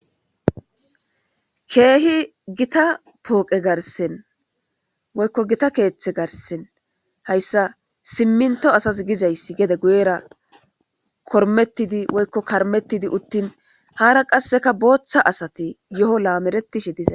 Keehi gita pooqe garsen woykko gita keeththe garsen hayssa simminto asas gizayssi gede guyera kormettidi woykko karmettidi uttin haara qasseka booththa asati yo'o laameretishe dizay.